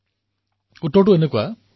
চাওক ইয়াত কোনো ৰহস্য নাই